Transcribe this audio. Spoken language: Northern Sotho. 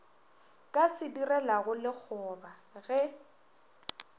ka se direlago lekgoba ge